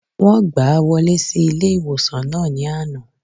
Wọ́n gbàá wọlé sí ilé-ìwòsàn náà ní àná